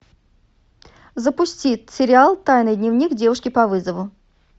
запусти сериал тайный дневник девушки по вызову